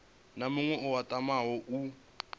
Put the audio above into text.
na muṅwe a tamaho u